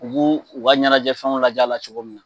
U b'u u ka ɲɛnajɛ fɛn laja la cogo min na